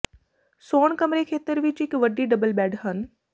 ਸੌਣ ਕਮਰੇ ਖੇਤਰ ਵਿੱਚ ਇੱਕ ਵੱਡੀ ਡਬਲ ਬੈੱਡ ਹਨ